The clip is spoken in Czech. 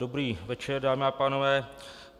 Dobrý večer, dámy a pánové.